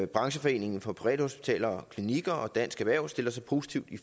brancheforeningen for privathospitaler og klinikker og dansk erhverv stiller sig positive